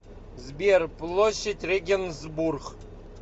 сбер площадь регенсбург